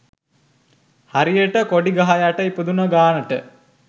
හරියට කොඩි ගහ යට ඉපදුන ගානට